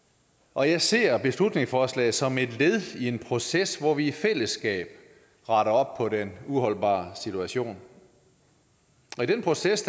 og jeg ser beslutningsforslaget som et led i en proces hvor vi i fællesskab retter op på den uholdbare situation og i den proces